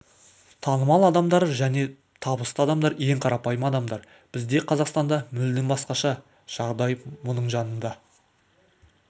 танымал адамдар және табысты адамдар ең қарапайым адамдар бізде қазақстанда мүлдем басқаша жағдай мұнда жаныңда